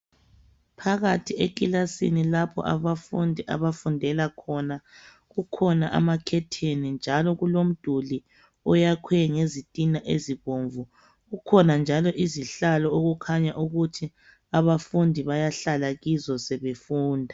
Phakathi ekilasini lapho abafundi abafundela khona ,kukhona amakhetheni njalo kulomduli oyakhwe ngezitina ezibomvu , kukhona njalo izihlalo okukhanya ukuthi abafundi bayahlala kizo sebefunda.